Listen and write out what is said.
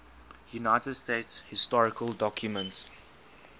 united states historical documents